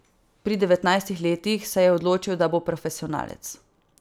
Pri devetnajstih letih se je odločil, da bo profesionalec.